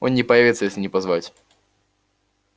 он не появится если не позвать